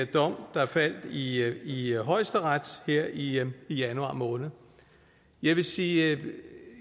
dom der faldt i i højesteret her i januar måned jeg vil sige